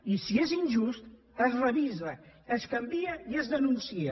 i si és injust es revisa es canvia i es denuncia